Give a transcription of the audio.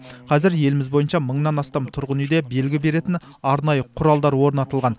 қазір еліміз бойынша мыңнан астам тұрғын үйде белгі беретін арнайы құралдар орнатылған